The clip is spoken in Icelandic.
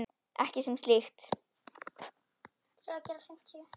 Ekki sem slíkt.